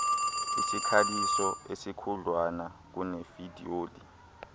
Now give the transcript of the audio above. isikhaliso esikhudlwana kunefidyoli